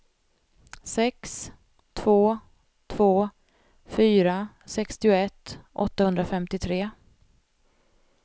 sex två två fyra sextioett åttahundrafemtiotre